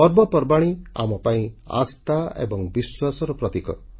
ପର୍ବପର୍ବାଣୀ ଆମ ପାଇଁ ଆସ୍ଥା ଏବଂ ବିଶ୍ୱାସର ପ୍ରତୀକ